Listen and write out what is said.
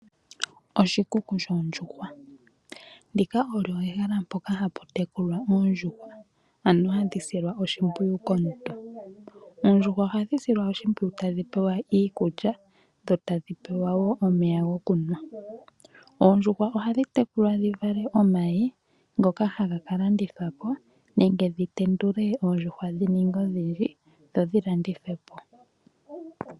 Oshikuku shoondjuhwa, ndika olyo ehala mpoka hapu tekulwa oondjuhwa, ano hadhi silwa oshimpwiyu komuntu. Oondjuhwa oha dhi silwa oshimpwiyu ta dhi pewa iikulya, dho tadhi pewa woo omeya gokunwa. Oha dhi tekulwa dhivale omayi, ngoka haga ka landithwapo nenge dhi tendule dhininge odhindji, dho dhi landithwe po.